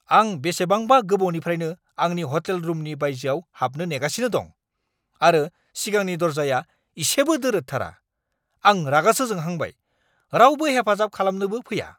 आं बेसेबांबा गोबावनिफ्रायनो आंनि हटेल रुमनि बायजोआव हाबनो नेगासिनो दं, आरो सिगांनि दरजाया इसेबो दोरोदथारा! आं रागासो जोंहांबाय, रावबो हेफाजाब खालामनोबो फैया।